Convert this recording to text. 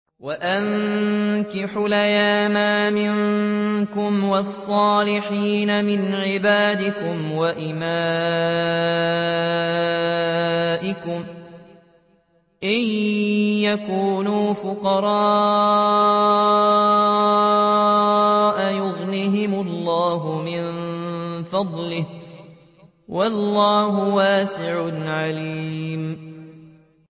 وَأَنكِحُوا الْأَيَامَىٰ مِنكُمْ وَالصَّالِحِينَ مِنْ عِبَادِكُمْ وَإِمَائِكُمْ ۚ إِن يَكُونُوا فُقَرَاءَ يُغْنِهِمُ اللَّهُ مِن فَضْلِهِ ۗ وَاللَّهُ وَاسِعٌ عَلِيمٌ